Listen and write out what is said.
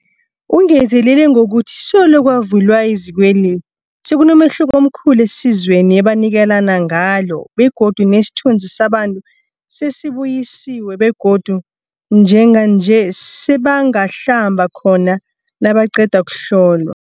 Ungezelele ngokuthi solo kwavulwa izikweli, sekunomehluko omkhulu esizweni ebanikelana ngalo begodu nesithunzi sabantu sesibuyisiwe begodu njenganje sebangahlamba khona nabaqeda ukuhlolwa.